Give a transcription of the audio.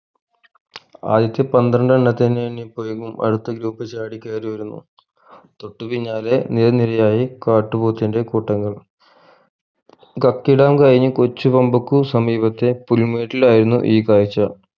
ആദ്യത്തെ പന്ത്രണ്ടണ്ണത്തിന് അടുത്ത group ചാടി കയറിവരുന്നു തൊട്ടു പിന്നാലെ നിര നിരയായി കാട്ടുപോത്തിന്റെ കൂട്ടങ്ങളും കർക്കിടകം കഴിഞ്ഞ് കൊച്ചു കോമ്പക്കു സമീപത്തെ പുലിമേട്ടിലായിരുന്നു ഈ കാഴ്ച